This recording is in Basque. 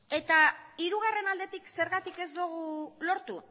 eta hirugarren aldetik zergatik ez dugu lortu